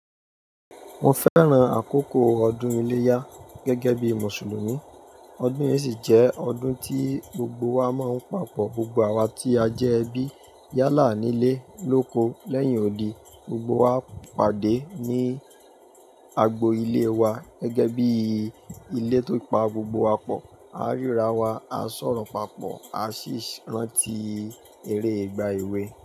Mo fẹ́ran àkókò ọdún iléyá gẹ́gẹ́ bí Mùsùlùmí. Ọdún yìí sì jẹ́ ọdún tí gbogbo wa máa ń papọ̀. Gbogbo wa tí a jẹ́ ẹbí yálà nílé lóko lẹ́yìn òdì, gbogbo wa pàdé ní agbo ilé wa gẹ́gẹ́ bí ilé tó pa gbogbo wá pọ̀, à ń ríra wa, á sọ̀rọ̀ papọ̀, á sì rántí eré ìgbà èwe.